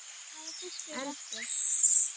En hvaða fiskur er bestur?